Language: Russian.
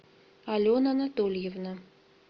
алена анатольевна